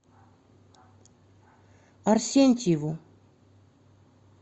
арсентьеву